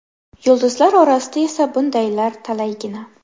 Yulduzlar orasida esa bundaylar talaygina.